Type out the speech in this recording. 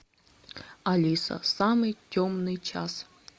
алиса самый темный час